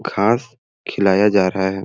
घास खिलाया जा रहा है।